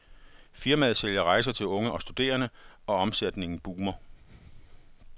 Firmaet sælger rejser til unge og studerende, og omsætningen boomer.